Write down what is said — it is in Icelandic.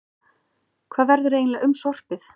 Hvað verður eiginlega um sorpið?